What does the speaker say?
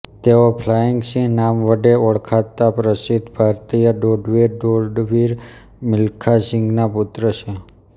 તેઓ ફ્લાઈંગ સિંહ નામ વડે ઓળખાતા પ્રસિદ્દ ભારતીય દોડવીર દોડવીર મિલખા સિંઘના પુત્ર છે